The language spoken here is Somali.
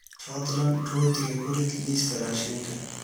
fadlan rootiga ku rid liiska raashinka